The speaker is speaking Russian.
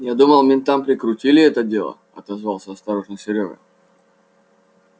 я думал ментам прикрутили это дело отозвался осторожно серёга